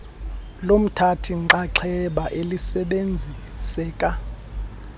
lomthathi nxxaxheba elisebenziseka